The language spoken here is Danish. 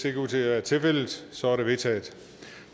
ikke ud til at være tilfældet så er de vedtaget